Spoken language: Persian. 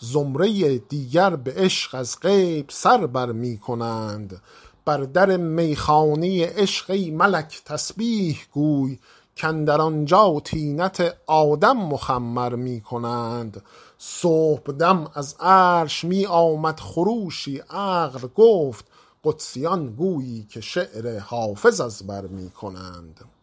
زمره دیگر به عشق از غیب سر بر می کنند بر در می خانه عشق ای ملک تسبیح گوی کاندر آنجا طینت آدم مخمر می کنند صبح دم از عرش می آمد خروشی عقل گفت قدسیان گویی که شعر حافظ از بر می کنند